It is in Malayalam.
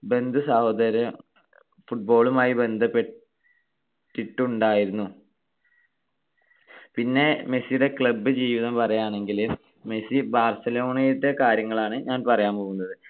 ബന്ധുസഹോദര football മായി ബന്ധപ്പെട്ടിട്ടുണ്ടായിരുന്നു. പിന്നെ മെസ്സിയുടെ club ജീവിതം പറയാണെങ്കിൽ മെസ്സി ബാർസലോണയിലത്തെ കാര്യങ്ങളാണ് ഞാൻ പറയാൻ പോകുന്നത്.